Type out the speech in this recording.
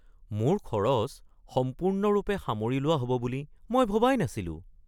মোৰ খৰচ সম্পূৰ্ণৰূপে সামৰি লোৱা হ’ব বুলি মই ভবাই নাছিলো। (মই)